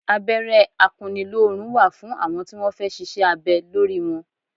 Abẹ́rẹ́ akunnilórun wà fún àwọn tí wọn fẹ́ ṣíṣe abẹ lórí wọn.